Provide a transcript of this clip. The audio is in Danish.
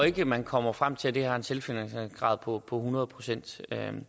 ikke man kommer frem til at det har en selvfinansieringsgrad på hundrede procent jeg ville